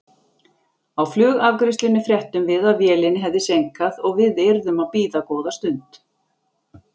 Á flugafgreiðslunni fréttum við að vélinni hefði seinkað og við yrðum að bíða góða stund.